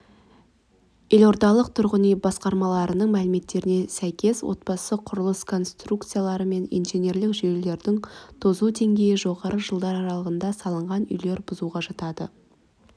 елордалық тұрғын үй басқармасының мәліметтеріне сәйкес отбасты құрылыс конструкциялары мен инженерлік жүйелерінің тозу деңгейі жоғары жылдар аралығында салынған үйлер бұзуға жатады